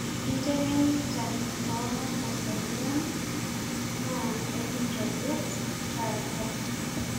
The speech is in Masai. kiteng'enita tomakosani ang' naa ekintobir taata